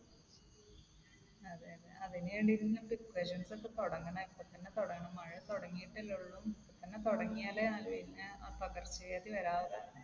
അതിന് വേണ്ടിയിട്ട് ഇനി precautions ഒക്കെ തുടങ്ങണം. ഇപ്പോൾ തന്നെ തുടങ്ങണം. മഴ തുടങ്ങിയിട്ടല്ലേ ഒള്ളു. ഇപ്പോൾ തന്നെ തുടങ്ങിയാലേ അത് പിന്നെ പകർച്ചവ്യാധി വരാതെ